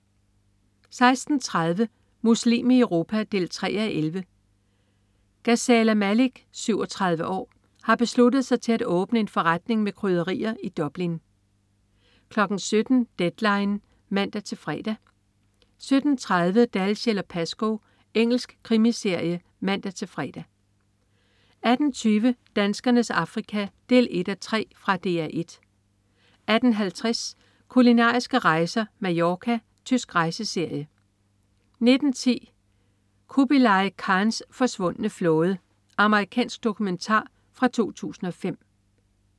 16.30 Muslim i Europa 3:11. Gazala Malik, 37 år, har besluttet sig til at åbne en forretning med krydderier i Dublin 17.00 Deadline 17:00 (man-fre) 17.30 Dalziel & Pascoe. Engelsk krimiserie (man-fre) 18.20 Danskernes Afrika 1:3. Fra DR 1 18.50 Kulinariske rejser: Mallorca. Tysk rejseserie 19.10 Khubilai Khans forsvundne flåde. Amerikansk dokumentar fra 2005